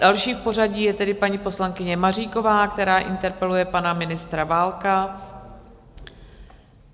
Další v pořadí je tedy paní poslankyně Maříková, která interpeluje pana ministra Válka.